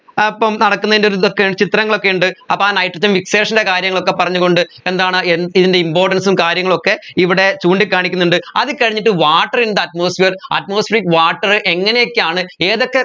അഹ് അപ്പോ നടക്കുന്നതിൻെറ ഒരു ഇതൊക്കെ ചിത്രങ്ങളൊക്കെ ഉണ്ട് അപ്പോ ആ nitrogen fixation ൻറെ കാര്യങ്ങളൊക്കെ പറഞ്ഞ് കൊണ്ട് എന്താണ് ൻെറ importance ഉം കാര്യങ്ങളൊക്കെ ഇവിടെ ചൂണ്ടിക്കാണിക്കുന്നുണ്ട് അതുകഴിഞ്ഞിട്ട് water in the atmosphereatmospheric water എങ്ങനെയൊക്കെയാണ് ഏതൊക്കെ